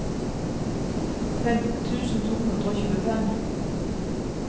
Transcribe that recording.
femten tusen to hundre og tjuefem